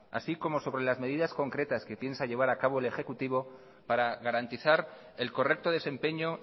así como sobre las medidas concretas que piensa llevar a cabo el ejecutivo para garantizar el correcto desempeño